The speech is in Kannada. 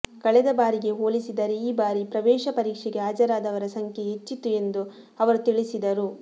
ಕಳೆದ ಬಾರಿಗೆ ಹೋಲಿಸಿದರೆ ಈ ಬಾರಿ ಪ್ರವೇಶ ಪರೀಕ್ಷೆಗೆ ಹಾಜರಾದವರ ಸಂಖ್ಯೆ ಹೆಚ್ಚಿತ್ತು ಎಂದು ಅವರು ತಿಳಿಸಿದರು